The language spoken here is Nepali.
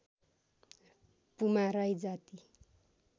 पुमा राई जाति